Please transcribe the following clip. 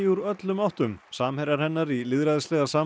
úr öllum áttum samherjar hennar í lýðræðislega